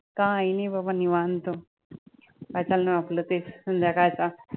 काय नाही बाबा निवांत काय चाललंय आपलं तेच संध्याकाळचं